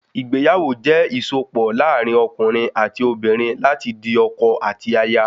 Ìgbéyàwó jẹ ìsopọ̀ láàrin okùnrin ati obìnrin láti di ọkọ àti aya